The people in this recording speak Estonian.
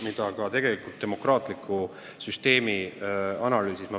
Tõin selle välja ka demokraatliku süsteemi analüüsis.